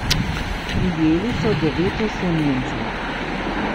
Prijeli so devet osumljencev.